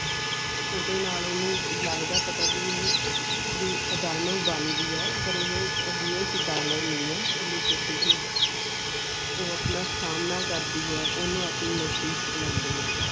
ਓਦੇ ਨਾਲ ਓਨੁ ਲੱਗਦਾ ਪਤਾ ਵੀ ਇਹ ਵੀ ਇਹ ਦਾਨਵ ਬਣ ਗਈ ਹੈ ਪਾਰ ਇਹ real ਛ ਦਾਨਵ ਨਾਈ ਹੈ ਕੁਲਿਪਤੀ ਹੀ ਹੈ ਉਹ ਆਪਣਾ ਸਾਮਣਾ ਕਰਦਿਆਂ ਓਨੁ ਆਪਣੇ ਨਜ਼ਦੀਕ ਬੁਲੰਦੀਆਂ.